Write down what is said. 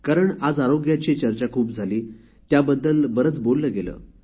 कारण आज आरोग्याची चर्चा खूप झाली त्याबद्दलच जास्त बोलले गेले